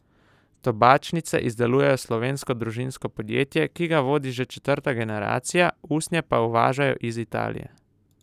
Tobačnice izdeluje slovensko družinsko podjetje, ki ga vodi že četrta generacija, usnje pa uvažajo iz Italije.